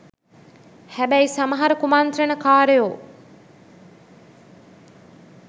හැබැයි සමහර කුමන්ත්‍රණ කාරයෝ